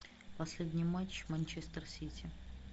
последний матч манчестер сити